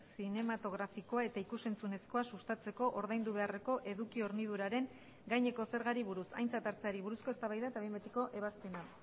zinematografikoa eta ikus entzunezkoa sustatzeko ordaindu beharreko eduki horniduraren gaineko zergari buruz aintzat hartzeari buruzko eztabaida eta behin betiko ebazpena